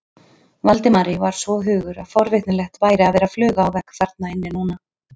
Valdimari sagði svo hugur að forvitnilegt væri að vera fluga á vegg þarna inni núna.